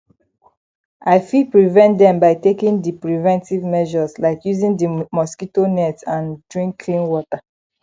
i fit prevent dem by taking di preventive measures like using di mosquito nets and drink clean water